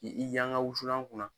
K'i i yankan wusulan kunna.